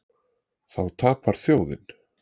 Þá tapar þjóðin.